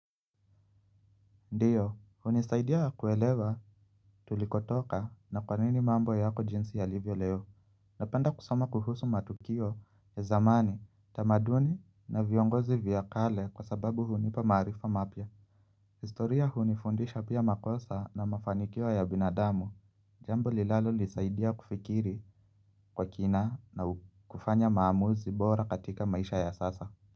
Ndiyo, hunisaidia kuelewa tulikotoka na kwanini mambo yako jinsi yalivyo leo Napenda kusoma kuhusu matukio ya zamani, tamaduni na viongozi vyakale kwasababu hunipa marifa mapya historia hunifundisha pia makosa na mafanikiwa ya binadamu Jambo linalalo nisaidia kufikiri kwa kina na kufanya maamuzi bora katika maisha ya sasa.